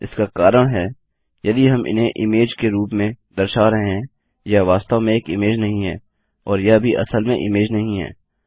इसका कारण है यदि हम इन्हें इमेज के रूप में दर्शा रहे हैं यह वास्तव में एक इमेज नहीं है और यह भी असल में इमेज नहीं है